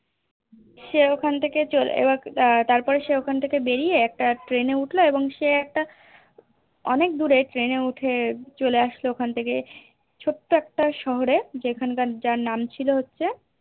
সে ওখান থেকে চলে এবার তারপর সে ওখান থেকে বেরিয়ে একটা Train এ উঠলো এবং সে একটা অনেক দূর এ Train এ উঠে চলে আসলো ওখান থেকে ছোট্ট একটা শহরে যেখানকার যার নাম ছিল হচ্ছে